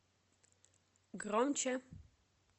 громче